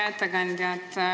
Hea ettekandja!